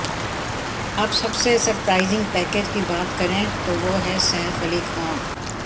अब सबसे surprising package की बात करें तो वो हैं सैफ अली खान